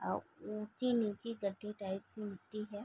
आउ ऊँची-नीची गड्ढे टाइप की मिट्टी है।